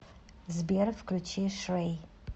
сбер включи шрэй